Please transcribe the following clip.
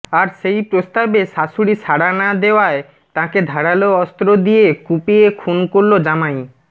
আর সেই প্রস্তাবে শাশুড়ি সাড়া না দেওয়ায় তাঁকে ধারালো অস্ত্র দিয়ে কুপিয়ে খুন করল জামাই